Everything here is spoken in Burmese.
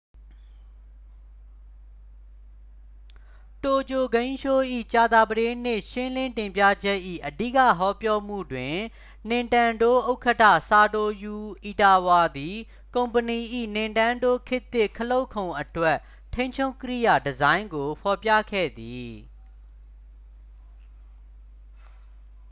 တိုကျိုဂိမ်းရှိုး၏ ကြာသပတေးနေ့ ရှင်းလင်းတင်ပြချက်၏ အဓိကဟောပြောမှုတွင် နင်တန်းဒိုး ဥက္ကဌ ဆာတိုရူ အီတာဝါသည် ကုမ္ပဏီ၏ နင်တန်းဒိုး ခေတ်သစ် ခလုတ်ခုံအတွက် ထိန်းချုပ်ကိရိယာ ဒီဇိုင်းကို ဖော်ပြခဲ့သည်